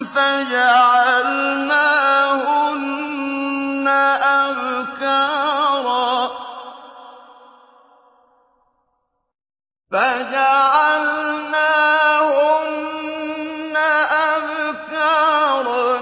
فَجَعَلْنَاهُنَّ أَبْكَارًا